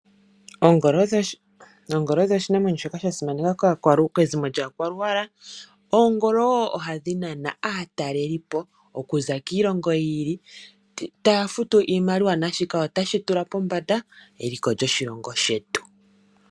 Oongolo odho iinamwenyo mbyoka ya simanekwa kezimo lyaakwaluwala. Oongolo wo ohadhi nana aatalelipo okuza kiilongo yi ili etaya futu iimaliwa naashika otashi tula pombanda eliko lyoshilongo shetu.